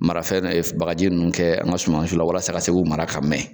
Marafɛn bagaji ninnu kɛ an ka sumansi la walasa ka se k'u mara ka mɛn.